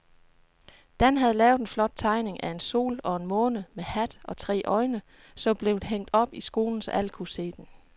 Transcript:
Dan havde lavet en flot tegning af en sol og en måne med hat og tre øjne, som blev hængt op i skolen, så alle kunne se den.